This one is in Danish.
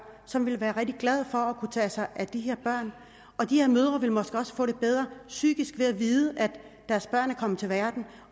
som vil være rigtig glade for at kunne tage sig af de her børn og de her mødre ville måske også få det bedre psykisk ved at vide at deres børn er kommet til verden